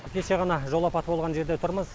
кеше ғана жол апаты болған жерде тұрмыз